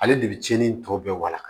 Ale de bɛ tiɲɛni tɔ bɛɛ walawa